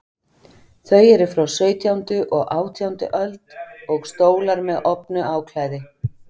Þau eru frá sautjándu og átjándu öld, og stólar með ofnu áklæði.